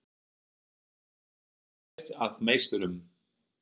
Hvað gerir þær að meisturum?